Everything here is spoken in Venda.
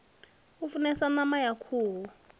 u funesa pama ya khuhu